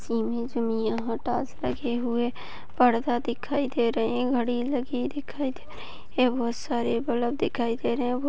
इस इमेज में यहाँ डेस्क रखे हुए पर्दा दिखाई दे रहे हैं घड़ी लगी दिखाई दे रही हैं बहुत सारे बल्ब लगे दिखाई दे रहे है।